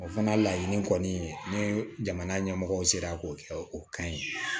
O fana laɲini kɔni ni jamana ɲɛmɔgɔ sera k'o kɛ o kan ye